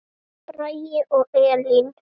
Bragi og Elín.